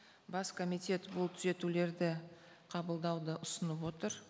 бас комитет бұл түзетулерді қабылдауды ұсынып отыр